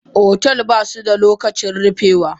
Otel basuda lokacin rufewa.